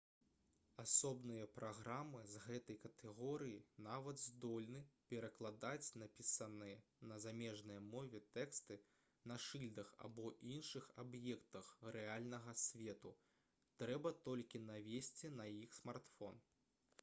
асобныя праграмы з гэтай катэгорыі нават здольны перакладаць напісаныя на замежнай мове тэксты на шыльдах альбо іншых аб'ектах рэальнага свету трэба толькі навесці на іх смартфон